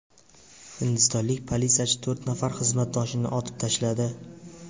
Hindistonlik politsiyachi to‘rt nafar xizmatdoshini otib tashladi.